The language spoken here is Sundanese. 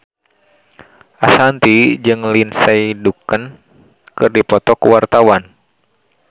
Ashanti jeung Lindsay Ducan keur dipoto ku wartawan